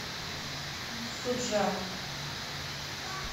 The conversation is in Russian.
суджа